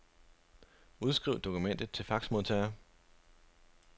Udskriv dokumentet til faxmodtager.